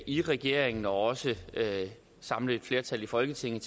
i regeringen og også samle et flertal i folketinget